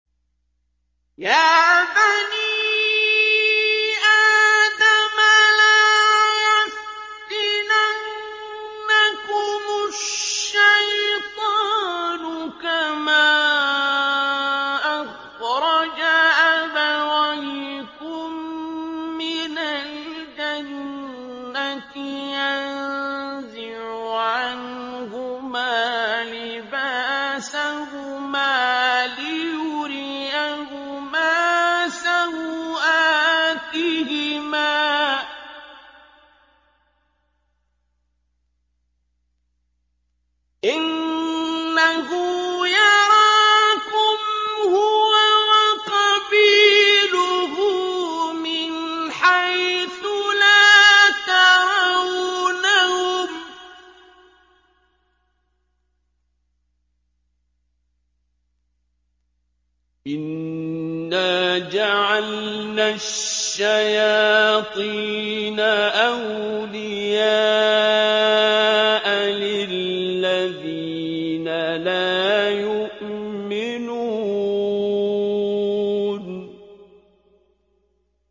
يَا بَنِي آدَمَ لَا يَفْتِنَنَّكُمُ الشَّيْطَانُ كَمَا أَخْرَجَ أَبَوَيْكُم مِّنَ الْجَنَّةِ يَنزِعُ عَنْهُمَا لِبَاسَهُمَا لِيُرِيَهُمَا سَوْآتِهِمَا ۗ إِنَّهُ يَرَاكُمْ هُوَ وَقَبِيلُهُ مِنْ حَيْثُ لَا تَرَوْنَهُمْ ۗ إِنَّا جَعَلْنَا الشَّيَاطِينَ أَوْلِيَاءَ لِلَّذِينَ لَا يُؤْمِنُونَ